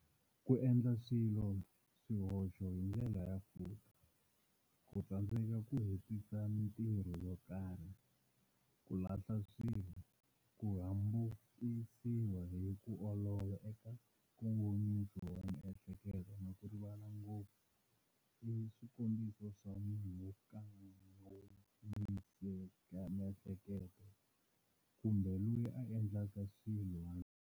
Ku endla swihoxo hi ndlela ya futa, ku tsandzeka ku hetisa mitirho yo karhi, ku lahla swilo, ku hambukisiwa hi ku olova eka nkongomiso wa miehleketo na ku rivala ngopfu i swikombiso swa munhu wa nkankongomisamiehleketo kumbe loyi a endleka swilo.